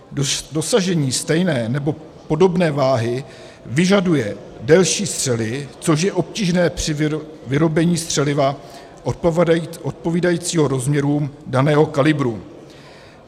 Dosažení stejné nebo podobné váhy vyžaduje delší střely, což je obtížné pro vyrobení střeliva odpovídajícího rozměrům daného kalibru.